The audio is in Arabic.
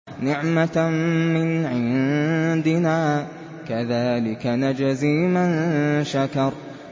نِّعْمَةً مِّنْ عِندِنَا ۚ كَذَٰلِكَ نَجْزِي مَن شَكَرَ